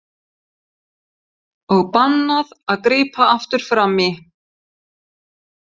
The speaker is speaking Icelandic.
Og bannað að grípa aftur fram í!